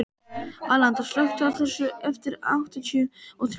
Alanta, slökktu á þessu eftir áttatíu og þrjár mínútur.